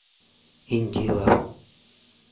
индила